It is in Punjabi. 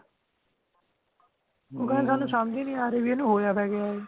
ਉਹ ਕਹਿੰਦੇ ਸਾਨੂ ਸਮਝੀ ਨੀ ਆਰੀ ਬੀ ਇਹਨੂੰ ਹੋਇਆ ਤਾ ਕਯਾ ਐ